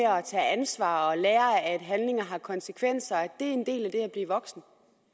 tage ansvar og lære at handlinger har konsekvenser er en del af det at blive voksen